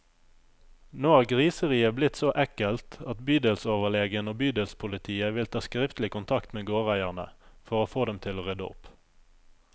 Nå har griseriet blitt så ekkelt at bydelsoverlegen og bydelspolitiet vil ta skriftlig kontakt med gårdeierne, for å få dem til å rydde opp.